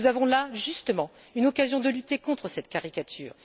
Nous avons là, justement, une occasion de lutter contre cette caricature.